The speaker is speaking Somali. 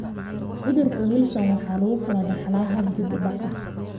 Cudurka Wilson waxa lagu kala dhaxlaa hab dib u dhac ah.